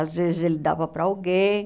Às vezes ele dava para alguém.